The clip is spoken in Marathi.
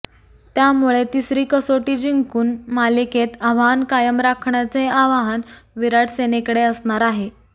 त्यामुळे तिसरी कसोटी जिंकून मालिकेत आव्हान कायम राखण्याचे आव्हान विराट सेनेकडे असणार आहे